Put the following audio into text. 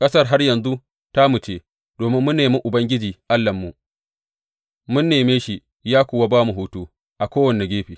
Ƙasar har yanzu tamu ce domin mun nemi Ubangiji Allahnmu, mun neme shi ya kuwa ba mu hutu a kowane gefe.